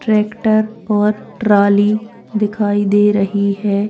Tractor और trolley दिखाई दे रही है।